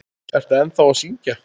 Ertu ennþá að syngja?